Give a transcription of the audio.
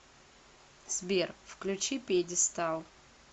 сбер включи пьедестал